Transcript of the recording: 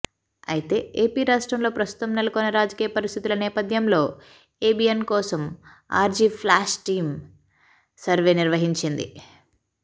అయితే ఏపీ రాష్ట్రంలో ప్రస్తుతం నెలకొన్న రాజకీయ పరిస్థితుల నేపథ్యంలో ఎబిఎన్ కోసం ఆర్జీఫ్లాష్ టీమ్ సర్వే నిర్వహించింది